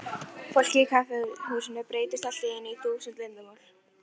Fólkið í kaffihúsinu breyttist allt í einu í þúsund leyndarmál.